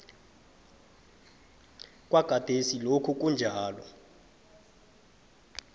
kwagadesi lokhu kunjalo